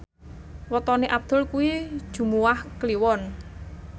wetone Abdul kuwi Jumuwah Kliwon